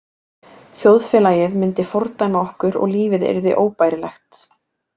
Þjóðfélagið myndi fordæma okkur og lífið yrði óbærilegt.